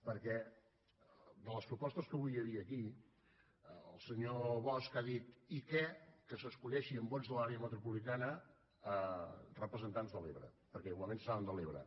perquè de les propostes que avui hi havia aquí el senyor bosch ha dit i què que s’escullin amb vots de l’àrea metropolitana representants de l’ebre perquè igualment seran de l’ebre